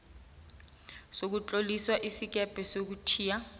sokutlolisa isikebhe sokuthiya